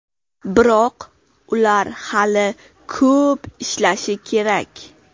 Biroq ular hali ko‘p ishlashi kerak.